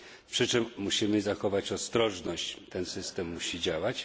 Przy czym musimy zachować ostrożność ten system musi działać.